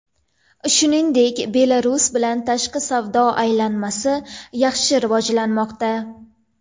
Shuningdek, Belarus bilan tashqi savdo aylanmasi yaxshi rivojlanmoqda.